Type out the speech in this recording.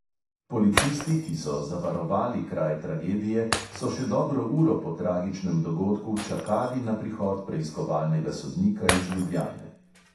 Policisti, ki so zavarovali kraj tragedije, so še dobro uro po tragičnem dogodku čakali na prihod preiskovalnega sodnika iz ljubljane.